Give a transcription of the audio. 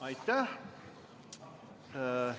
Aitäh!